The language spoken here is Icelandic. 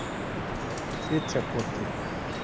Fitjakoti